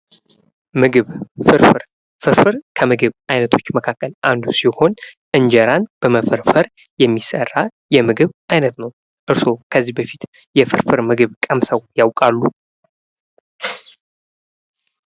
ምግብ ፍርፍር ፤ፍርፍር ከምግብ አይነቶች መካከል አንዱ ሲሆን እንጀራን በመፈርፈር የሚሰራ የምግብ አይነት ነው። ከዚህ በፊት የፍርፍር ምግብ ምግብ ቀምሰው ያውቃሉ?